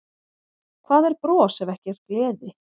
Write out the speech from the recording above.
Hvað er bros ef ekki er gleði?